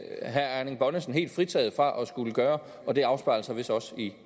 herre erling bonnesen helt fritaget for at skulle gøre og det afspejler sig vist også i